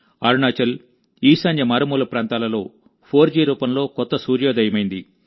అరుణాచల్ ఈశాన్య మారుమూల ప్రాంతాలలో 4G రూపంలో కొత్త సూర్యోదయమైంది